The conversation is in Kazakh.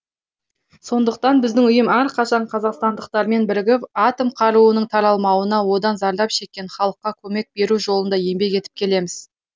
сондықтан біздің ұйым әрқашан қазақстандықтармен бірігіп атом қаруының таралмауына одан зардап шеккен халыққа көмек беру жолында еңбек етіп келеміз